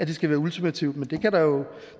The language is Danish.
det skal være ultimativt men